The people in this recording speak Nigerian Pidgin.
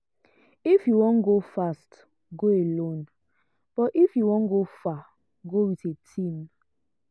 if you wan go fast go alone; but if you wan go far go with a team.